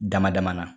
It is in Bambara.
Dama dama na